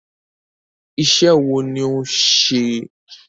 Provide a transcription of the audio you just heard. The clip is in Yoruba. Iṣẹ́ wo ni òun ṣe?